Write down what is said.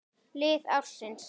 Lið ársins